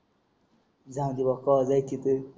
जाऊ दे बा कवा जायचे ते